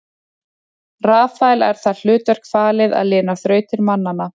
Rafael er það hlutverk falið að lina þrautir mannanna.